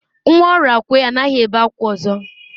Nwa Orakwe anaghi ebe akwa ozo.